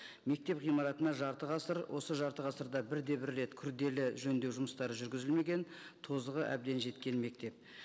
мектеп ғимаратына жарты ғасыр осы жарты ғасырда бірде бір рет күрделі жөндеу жұмыстары жүргізілмеген тозығы әбден жеткен мектеп